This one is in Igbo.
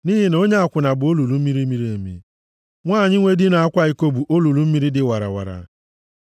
Nʼihi na onye akwụna bụ olulu miri emi, nwanyị nwe di na-akwa iko bụ olulu mmiri dị warawara.